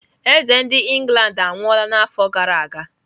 Eze nke England anwụọla n'afọ gara aga?